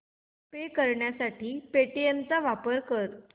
पे करण्यासाठी पेटीएम चा वापर कर